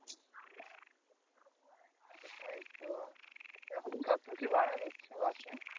তাইতো, এখন কত কি ভাড়া নিচ্ছে bus এ?